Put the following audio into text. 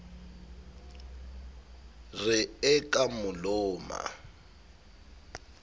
re e ka mo loma